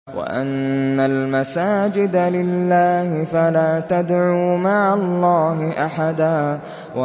وَأَنَّ الْمَسَاجِدَ لِلَّهِ فَلَا تَدْعُوا مَعَ اللَّهِ أَحَدًا